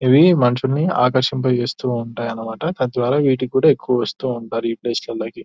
ఇవి మనుషుల్ని ఆకర్షింప చేస్తూ ఉంటాయన్న మాట తద్వారా వీటికి కూడా ఎక్కువ వాస్తు ఉంటారు ఈ ప్లేస్ లాలకి --